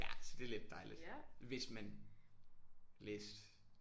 Ja så det er lidt dejligt hvis man læste